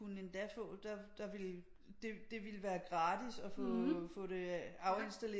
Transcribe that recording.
Kunne endda få der der ville det ville være gratis at få det afindstalleret